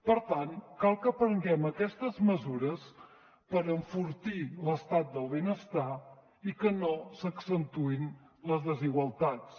per tant cal que prenguem aquestes mesures per enfortir l’estat del benestar i que no s’accentuïn les desigualtats